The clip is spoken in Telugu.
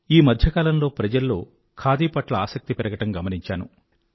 ఈ మధ్య కాలంలో ప్రజల్లో ఖాదీ పట్ల ఆసక్తి పెరగటం గమనించాను